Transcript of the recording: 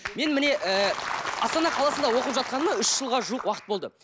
мен міне ы астана қаласында оқып жатқаныма үш жылға жуық уақыт болды